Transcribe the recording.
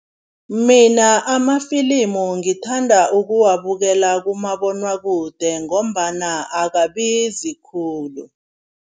Mina amafilimu ngithanda ukuwabukela kumabonakude ngombana akabizi khulu.